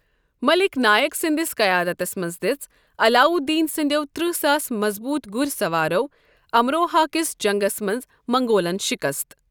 مٔلِک نائک سنٛدِس قیادتس منٛز دٕژ علاؤالدین سٕنٛدِیو ترٕہ ساس مَضبوٗط گُرِۍ سَوارو امروہا کِس جنگس منٛز منگولن شِکست ۔